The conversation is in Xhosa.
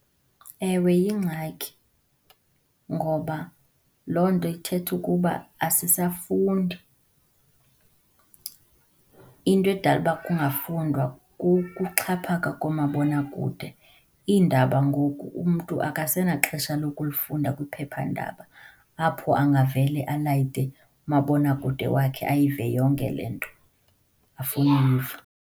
Ewe yingxaki ngoba loo nto ithetha ukuba asisafundi. Into edala uba kungafundwa kukuxhaphaka koomabonakude. Iindaba ngoku umntu akasenaxesha lokulifunda kwiphephandaba, apho angavele alayite umabonakude wakhe ayive yonke le nto afuna uyiva.